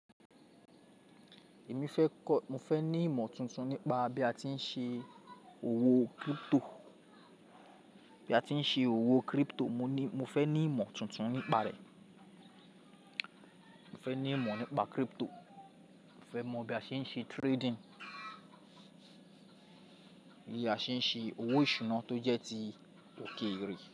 Mo fẹ́ ní ìmọ̀ tuntun nípa bi a ti n se bí a tí ń ṣe òwò crypto. Mo fẹ́ ní ìmọ̀ tuntun nípa rẹ̀. Mo fẹ́ mọ bí a ṣe ń ṣe trading. Bí a ṣe ń ṣe owó ìṣúná tó jẹ́ ti òkèèrè.